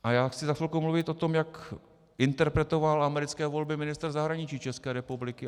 A já chci za chvilku mluvit o tom, jak interpretoval americké volby ministr zahraničí České republiky.